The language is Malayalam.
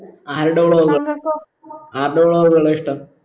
ആരുടെ vlog ആരുടെ vlog കള ഇഷ്ട്ടം